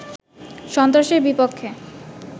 সন্ত্রাসের বিপক্ষে